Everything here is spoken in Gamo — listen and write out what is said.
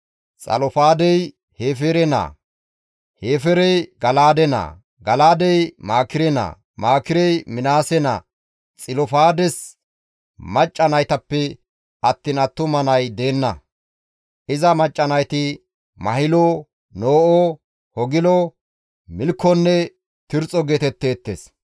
Xilofaadey Hefeere naa; Hefeerey Gala7aade naa; Gala7aadey Maakire naa; Maakirey Minaase naa. Xilofaades macca naytappe attiin attuma nay deenna; iza macca nayti Mahilo, No7o, Hogilo, Milkkonne Tirxxo geetetteettes.